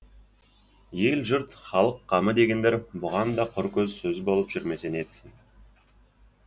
ел жұрт халық қамы дегендер бұған да құр сөз болып жүрмесе нетсін